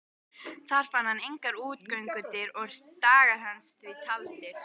Þar fann hann engar útgöngudyr og dagar hans því taldir.